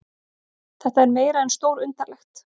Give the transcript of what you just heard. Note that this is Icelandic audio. Þetta er meira en stórundarlegt